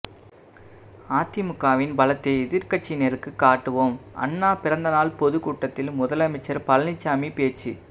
அதிமுகவின் பலத்தை எதிர்க்கட்சியினருக்கு காட்டுவோம் அண்ணா பிறந்தநாள் பொதுக்கூட்டத்தில் முதலமைச்சர் பழனிசாமி பேச்சு